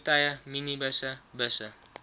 voertuie minibusse busse